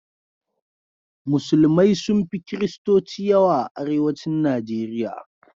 Musulmai sun fi kiristoci yawa a arewacin Nijeriya.